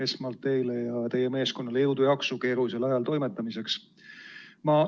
Esmalt teile ja teie meeskonnale jõudu-jaksu keerulisel ajal toimetamiseks!